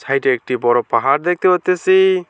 সাইডে একটি বড় পাহাড় দেখতে পারতেসি।